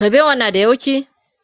ƙuɓewan na da yauƙi?